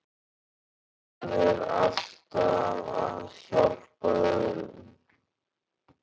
Hann er alltaf að hjálpa öðrum.